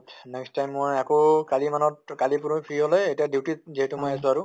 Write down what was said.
next time মই আকৌ কালি মানত কালি পুৰহি free হʼলে duty ত যিহেতু মই আছো আৰু